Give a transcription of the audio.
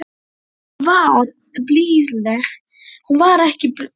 Hún var ekki blíðleg á svipinn, Sigþóra blessunin!